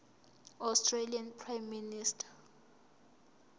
australian prime minister